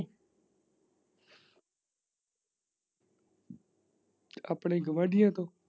ਆਪਣੇ ਗੁਆਂਢੀਆ ਤੋਂ।